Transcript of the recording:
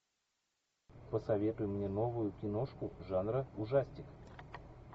посоветуй мне новую киношку жанра ужастик